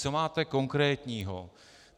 Co máte konkrétního?